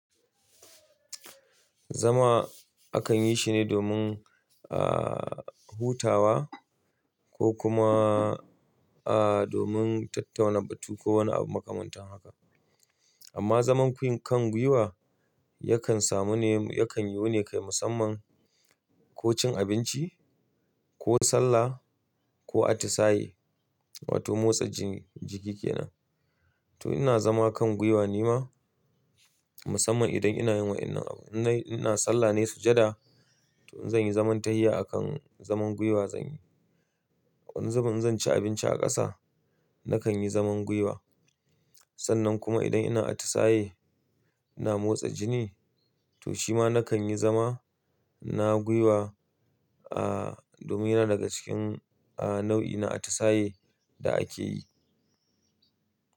Zama akan yi shine domin, ah, hutawa ko kuma, ah, domin tattaunawa, batu ko wani abu makamantan haka. Amma zaman kwin kan gwiwa yakan samu ne, yakan yiwu ne kai musamman ko cin abinci, ko sallah ko atisaye wato motsa jiki kenan. To ina zama kan gwiwa ne ma musamman idan ina yin wa'inan abu. Inna ina sallah ne sujada to in zanyi zaman tahiya akan zaman gwiwa zanyi. Wani zaman in zan ci abinci a ƙasa nakan yi zaman gwiwa. Sannan kuma idan ina atisaye ina motsa jini to shi ma na kan yi zama na gwiwa domin ya na daga cikin nau'i na atisaye da a ke yi.